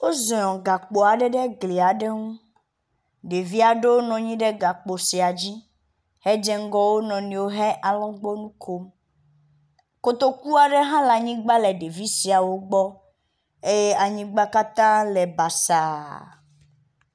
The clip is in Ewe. Woziɔ gakpo aɖe ɖe eglia ŋu, ɖevi aɖewo nɔ anyi ɖe gakpo sia dzi hedze ŋgɔ wo nɔewo he alɔgbɔnui kom. Kotoku aɖe hã le anyigba le ɖevi siawo gbɔ eye anyigba ɖeviawo gbɔ eye anyigba katã le basaa.